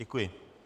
Děkuji.